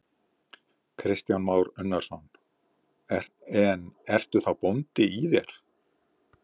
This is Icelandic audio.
Kristján Már Unnarsson: En ertu þá bóndi í þér?